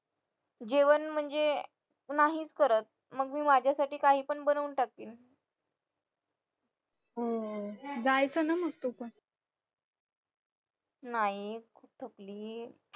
जेवण म्हणजे नाहीच करत मग मी माझ्यासाठी काही पण बनवून टाकते नाही